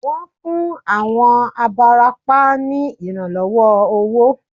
Wón fún àwọn abarapá ní ìrànlọ́wọ́ owó